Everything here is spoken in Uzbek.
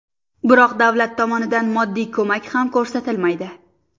Biroq davlat tomonidan moddiy ko‘mak ham ko‘rsatilmaydi.